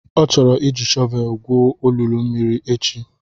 Ọ chọrọ iji shọvelu gwuo olulu mmiri echi.